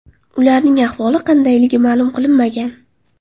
Ularning ahvoli qandayligi ma’lum qilinmagan.